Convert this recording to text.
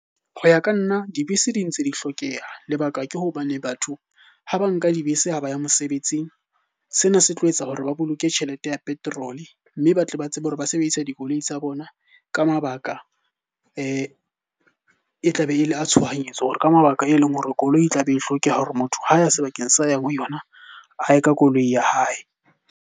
Ho ya ka nna dibese di ntse di hlokeha. Lebaka ke hobane batho ha ba nka dibese ha ba ya mosebetsing. Sena se tlo etsa hore ba boloke tjhelete ya petrol, mme ba tle ba tsebe hore ba sebedise dikoloi tsa tsa bona ka mabaka E tlabe e le a tshohanyetso. Hore ka mabaka e leng hore koloi e tla be e hlokeha hore motho ha ya sebakeng sa yang ho yona, a ye ka koloi ya hae.